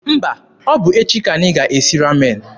Mba, ọ bụ echi ka anyị ga-esi Ramen.